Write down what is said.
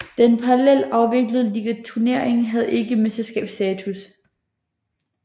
Den parallelt afviklede ligaturnering havde ikke mesterskabsstatus